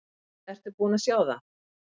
Ertu búinn að sjá það?